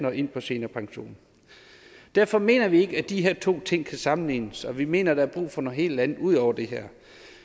og ind på seniorpension derfor mener vi ikke at de her to ting kan sammenlignes og vi mener der er brug for noget helt andet ud over det